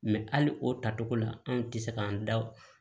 hali o tacogo la anw tɛ se k'an da o